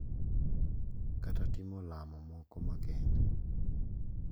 Kata timo lamo moko makende, .